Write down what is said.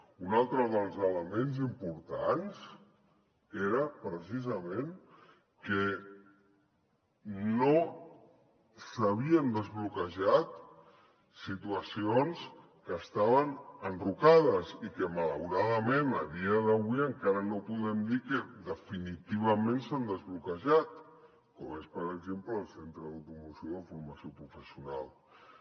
un altre dels elements importants era precisament que no s’havien desbloquejat situacions que estaven enrocades i que malauradament a dia d’avui encara no podem dir que definitivament s’han desbloquejat com és per exemple el centre de formació professional d’automoció